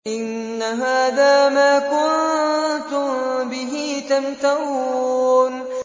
إِنَّ هَٰذَا مَا كُنتُم بِهِ تَمْتَرُونَ